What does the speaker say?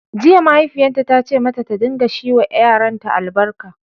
Jiya, mahaifiyarta ta ce mata ta dinga shi wa yaranta albarka